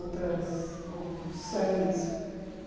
Outras outros sangues